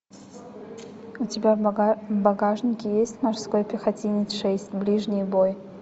у тебя в багажнике есть морской пехотинец шесть ближний бой